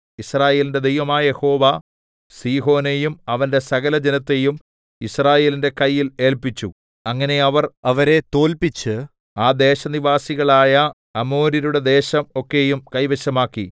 യിസ്രായേലിന്റെ ദൈവമായ യഹോവ സീഹോനെയും അവന്റെ സകലജനത്തെയും യിസ്രായേലിന്റെ കയ്യിൽ ഏല്പിച്ചു അങ്ങനെ അവർ അവരെ തോല്പിച്ച് ആ ദേശനിവാസികളായ അമോര്യരുടെ ദേശം ഒക്കെയും കൈവശമാക്കി